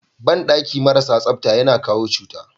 Banɗaki maras tsafta yana kawo cuta.